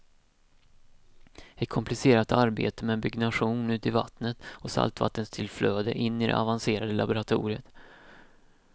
Ett komplicerat arbete med byggnation ut i vattnet och saltvattenstillflöde in i det avancerade laboratoriet.